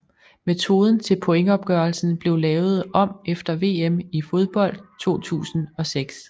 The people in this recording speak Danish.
Metoden til pointopgørelsen blev lavet om efter VM i fodbold 2006